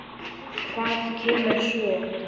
Hvað kemur svo?